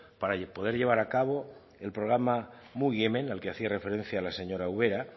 para poder llevar a cabo el programa mugiment al que hacía referencia la señora ubera